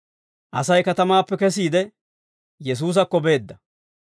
Asay katamaappe kesiide, Yesuusakko beedda.